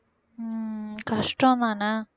உம் கஷ்டம்தானே